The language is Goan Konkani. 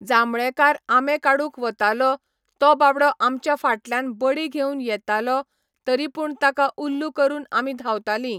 जांबळेकार आंबे काडूंक वताले तो बाबडो आमच्या फाटल्यान बडी घेवन येतालो तरी पूण ताका उल्लू करून आमी धांवताली